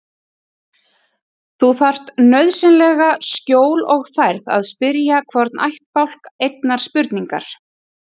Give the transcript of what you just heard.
Þú þarft nauðsynlega skjól og færð að spyrja hvorn ættbálk einnar spurningar.